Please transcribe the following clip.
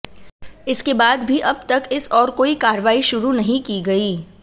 इसके बाद भी अब तक इस ओर कोई कार्रवाई शुरू नहीं की गई